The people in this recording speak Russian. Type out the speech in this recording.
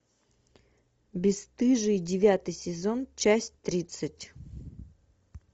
бесстыжие девятый сезон часть тридцать